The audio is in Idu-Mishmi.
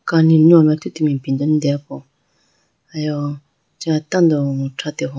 Kani nuyame athutimi ipindo ane deya po ayo acha tando thrate howa.